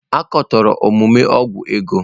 A katọrọ omume ọgwụ ego.